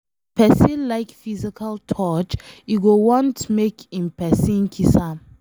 If pesin like physical touch, e go want make em pesin kiss am